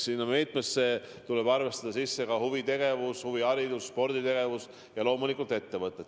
Sinna meetmesse tuleb arvestada sisse ka huvitegevus, huviharidus, sporditegevus ja loomulikult ettevõtted.